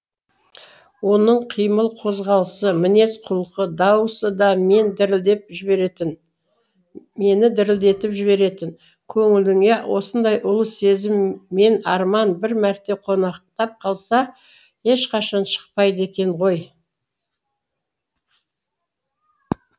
оның қимыл қозғалысы мінез құлқы дауысы да мені дірілдетіп жіберетін көңіліңе осындай ұлы сезім мен арман бір мәрте қонақтап қалса ешқашан шықпайды екен ғой